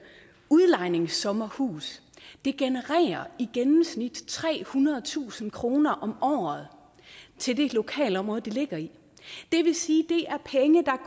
udlejningssommerhus i gennemsnit trehundredetusind kroner om året til det lokalområde det ligger i det vil sige